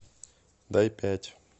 дай пять